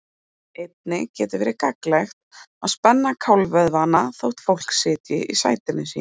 Einnig getur verið gagnlegt að spenna kálfavöðvana þótt fólk sitji í sætinu sínu.